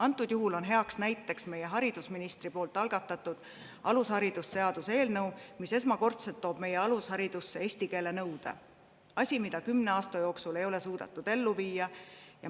Antud juhul on heaks näiteks meie haridusministri algatatud alusharidusseaduse eelnõu, mis toob esmakordselt alusharidusse eesti keele nõude: asi, mida kümne aasta jooksul ei ole suudetud ellu viia.